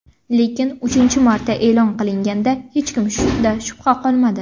Lekin uchinchi marta e’lon qilinganda, hech kimda shubha qolmadi.